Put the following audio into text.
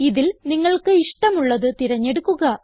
ഇതിൽ നിങ്ങൾക്ക് ഇഷ്ടമുള്ളത് തിരഞ്ഞെടുക്കുക